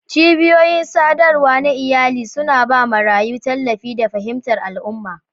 Cibiyoyin sadarwa na iyalai suna ba marayu tallafi da fahimtar al'umma.